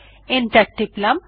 enter টিপলাম